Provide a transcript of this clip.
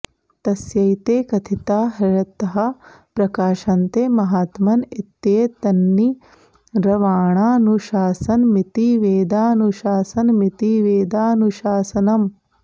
तस्यैते कथिता ह्यर्थाः प्रकाशन्ते महात्मन इत्येतन्निर्वाणानुशासनमिति वेदानुशासनमिति वेदानुशासनम्